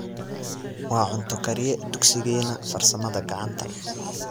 Waa cunto kariye dugsigeena farsamada gacanta